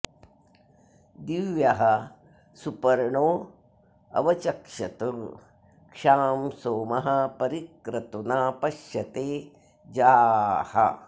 दिव्यः सुपर्णोऽव चक्षत क्षां सोमः परि क्रतुना पश्यते जाः